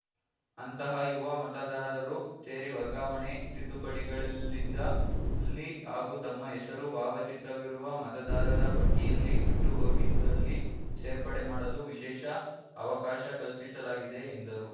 ಅಂತಹ ಯುವ ಮತದಾರರು ಸೇರಿ ವರ್ಗಾವಣೆ ತಿದ್ದುಪಡಿಗಳಿದ್ದಲ್ಲಿ ಹಾಗೂ ತಮ್ಮ ಹೆಸರು ಭಾವಚಿತ್ರವಿರುವ ಮತದಾರರ ಪಟ್ಟಿಯಲ್ಲಿ ಬಿಟ್ಟು ಹೋಗಿದ್ದಲ್ಲಿ ಸೇರ್ಪಡೆ ಮಾಡಲು ವಿಶೇಷ ಅವಕಾಶ ಕಲ್ಪಿಸಲಾಗಿದೆ ಎಂದರು